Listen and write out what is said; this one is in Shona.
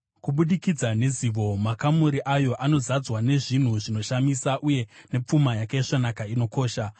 kubudikidza nezivo makamuri ayo anozadzwa nezvinhu zvinoshamisa uye nepfuma yakaisvonaka inokosha.